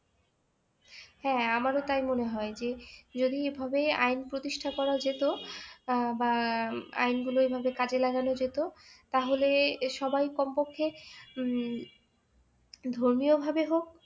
হ্যাঁ আমারও তাই মনে হয় যে যদি এভাবে আইন প্রতিষ্ঠা করা যেত আহ বা আইনগুলো এইভাবে কাজে লাগানো যেত তাহলে সবাই কমপক্ষে উম ধর্মীয়ভাবে হোক